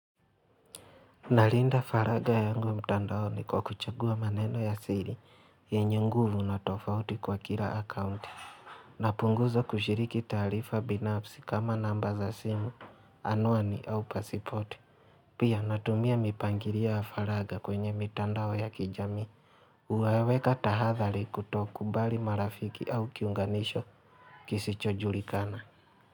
Nalinda faraga yangu mtandao ni kwa kuchagua maneno ya siri yenye nguvu na tofauti kwa kila akaunti napunguza kushiriki taarifa binafsi kama namba za simu Anuani au pasipoti Pia natumia mipangilio ya faraga kwenye mitandao ya kijamii huwaweka tahadhari kutokubali marafiki au kiunganisho kisichojulikana.